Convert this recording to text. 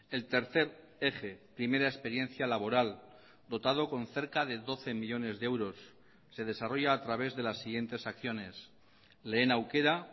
el tercer eje primera experiencia laboral dotado con cerca de doce millónes de euros se desarrolla a través de las siguientes acciones lehen aukera